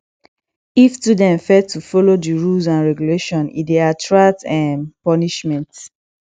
if students fail to follow the rules and regulations e de attract um punishment